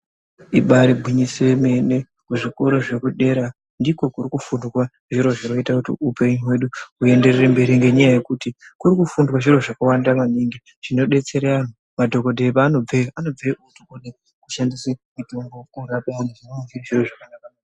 Ibari gwinyiso yemene kuzvikoro zvedera ndiko kuri kufundwa zviro zvinoita kuti upenyu hwedu hwuenderere mberi ngenyaya yekuti kuri kufundiswa zviro zvakawanda maningi zvinodetsera antu. Madhokodheya panobve kushandisa mitombo.